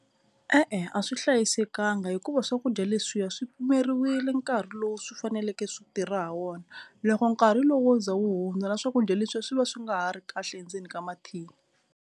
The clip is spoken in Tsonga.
E-e, a swi hlayisekanga hikuva swakudya leswiya swi pimeriwile nkarhi lowu swi faneleke swi tirha ha wona. Loko nkarhi lowu wo za wu hundza na swakudya leswiya swi va swi nga ha ri kahle endzeni ka mathini.